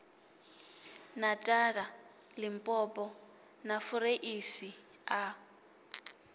natala limpopo na fureisi a